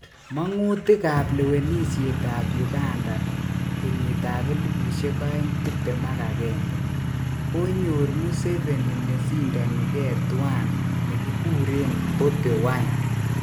Mongutik ap lewenisiet ap uganda 2021. konyor Museveni nesindoni ge tuan negiguren Bobi wine